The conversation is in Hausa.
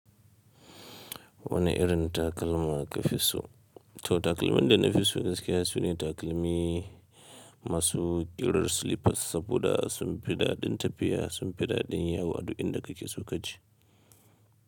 Wani irin takalma kafiso. To takalmin da nafi so gaskiya sune takalmi masu ƙirar slippers saboda sun fi daɗin tafiya, sun fi daɗin yawo a duk inda kake so kaji.